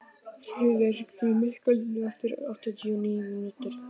Friðey, hringdu í Mikkalínu eftir áttatíu og níu mínútur.